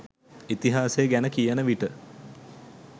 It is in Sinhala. ඉතිහාසය ගැන කියන විට